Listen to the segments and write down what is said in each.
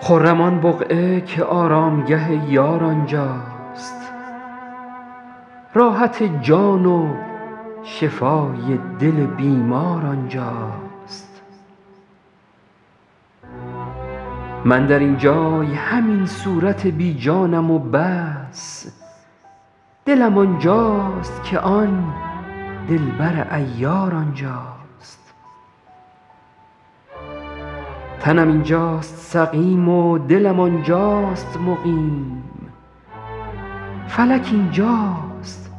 خرم آن بقعه که آرامگه یار آنجاست راحت جان و شفای دل بیمار آنجاست من در این جای همین صورت بی جانم و بس دلم آنجاست که آن دلبر عیار آنجاست تنم اینجاست سقیم و دلم آنجاست مقیم فلک اینجاست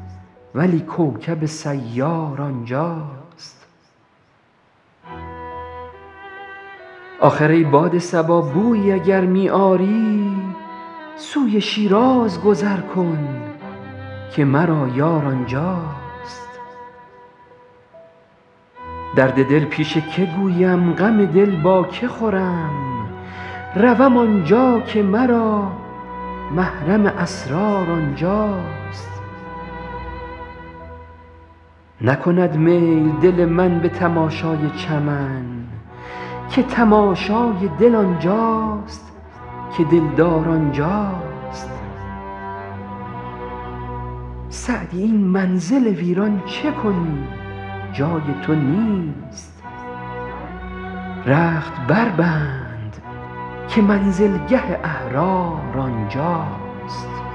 ولی کوکب سیار آنجاست آخر ای باد صبا بویی اگر می آری سوی شیراز گذر کن که مرا یار آنجاست درد دل پیش که گویم غم دل با که خورم روم آنجا که مرا محرم اسرار آنجاست نکند میل دل من به تماشای چمن که تماشای دل آنجاست که دلدار آنجاست سعدی این منزل ویران چه کنی جای تو نیست رخت بربند که منزلگه احرار آنجاست